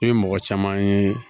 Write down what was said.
I ye mɔgɔ caman ye